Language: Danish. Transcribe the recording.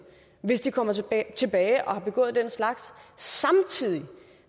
hvis de kommer tilbage tilbage og har begået den slags samtidig